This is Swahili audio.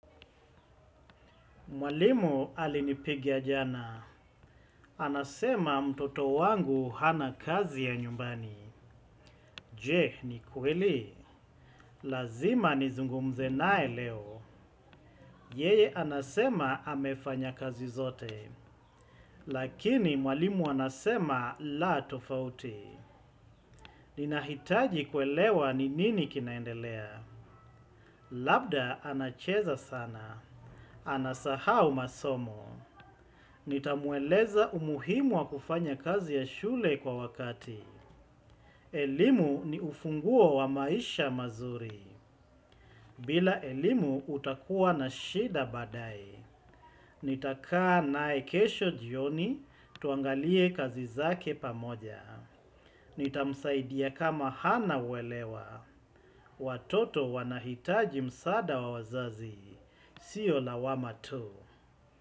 Mwalimu alinipigia jana. Anasema mtoto wangu hana kazi ya nyumbani. Je, ni kweli? Lazima nizungumze naye leo. Yeye anasema amefanya kazi zote. Lakini mwalimu anasema la tofauti. Ninahitaji kuelewa ni nini kinaendelea. Labda anacheza sana. Anasahau masomo. Nitamueleza umuhimu wa kufanya kazi ya shule kwa wakati. Elimu ni ufunguo wa maisha mazuri. Bila elimu utakuwa na shida baadaye. Nitakaa naye kesho jioni, tuangalie kazi zake pamoja. Nitamsaidia kama hana uelewa. Watoto wanahitaji msaada wa wazazi. Sio lawama tu.